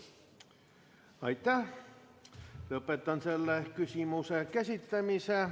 Lõpetan selle küsimuse käsitlemise.